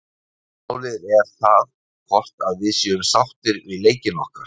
Aðalmálið er það hvort að við séum sáttir við leikinn okkar.